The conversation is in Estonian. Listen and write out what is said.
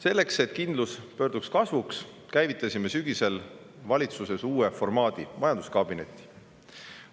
Selleks, et kindlus pöörduks kasvuks, käivitasime sügisel valitsuses uue formaadi, majanduskabineti.